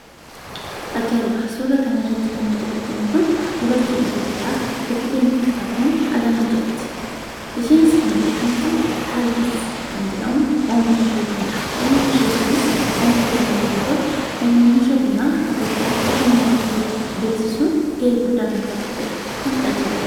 Aja'ibaa! Suuraa kana irratti kan nuti arginuu immoo, dubarti Itoophiyaa Beteliheem Xilahuun Alaamuu jedhaamti. Isheenis kan beekamtu "Kaldi's" kan jedhamu oomishaa isheetinidha. Oomishii ishee kunis oomishaa Bunaa yommuu ta'u, oomishaa Bunaa Itoophiyaa aaddunyaa irratti beeksisuun gahee guddaa kan taphateedha. Kun aja'ibaa!